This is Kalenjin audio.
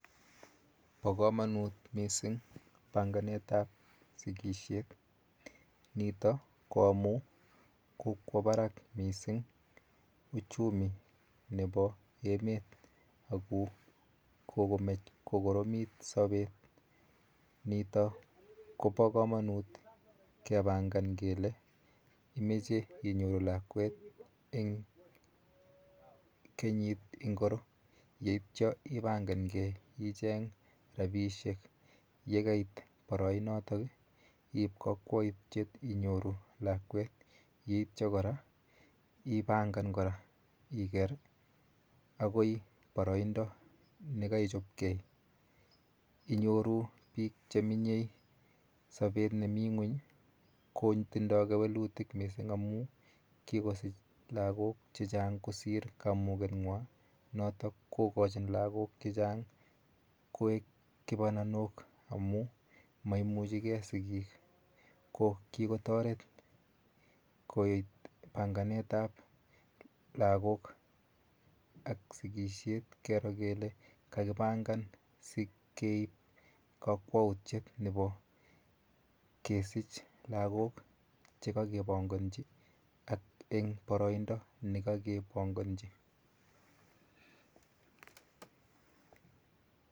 Po komonut mising panganetap sikishet, nito ko amu kokwo barak mising uchumi nepo emet ako kokomech kokoromit sopet, nito kopo komonut kepangan kele imoche inyoru lakwet eng kernyit ingoro yeityo ipangangei icheng rapiishek yekait boroinotok, iip kakwoutyet inyoru lakwet yeityo kora ipangan kora iker akoi boroindo nekaichopkei. Inyoru biikcheminye sobet nemi ng'uny kotindoi kewelutik mising amu kikosich lagok chechang kosir kamukeng'wa notok kokochin lagok chechang koek kipananok amu maimuchigei sigik ko kikotoret koet panganetap lagok ak sikishet kero kele kakipangan sikeip kakwautiet nepo kesich lagok chekakepongonji ak eng boroindo nekakepongonji.